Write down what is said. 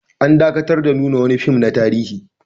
An dakatar da nuna wani fim na tarihi